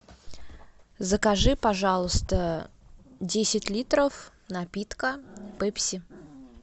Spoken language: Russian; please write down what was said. закажи пожалуйста десять литров напитка пепси